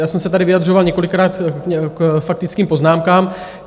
Já jsem se tady vyjadřoval několikrát k faktickým poznámkám.